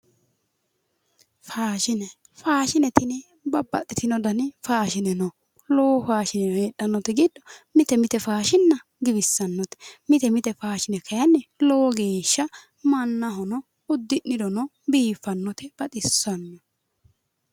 Faashine, faashine tini babbaxxino dani faashine heedhaannote giddo mite mite faashinna giwissannote mite mite kayiinni faashinna lowo geeshsha mannaho uddi'nirona baxissannote biiffannote